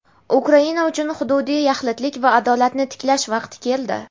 Ukraina uchun hududiy yaxlitlik va adolatni tiklash vaqti keldi.